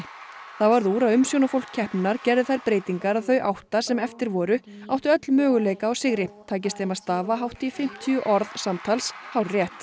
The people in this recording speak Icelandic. það varð úr að keppninnar gerði þær breytingar að þau átta sem eftir voru áttu öll möguleika á sigri tækist þeim að stafa hátt í fimmtíu orð samtals hárrétt